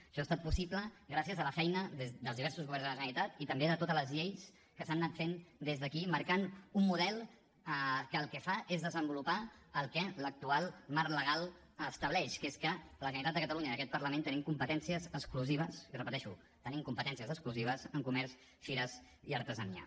això ha estat possible gràcies a la feina des dels diversos governs de la generalitat i també de totes les lleis que s’han anat fent des d’aquí marcant un model que el que fa és desenvolupar el que l’actual marc legal estableix que és que la generalitat de catalunya i aquest parlament tenim competències exclusives i ho repeteixo tenim competències exclusives en comerç fires i artesania